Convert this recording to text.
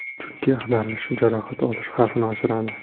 Chunki ag‘darilish jarohat olish xavfini oshiradi.